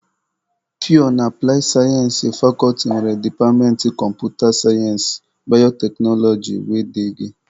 Pịyọ na aplaị sayensị fakọlti nwere departmentị kọmputa sayensị, bayoteknoloji wdg.